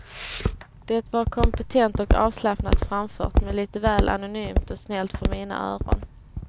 Det var kompetent och avslappnat framfört, men lite väl anonymt och snällt för mina öron.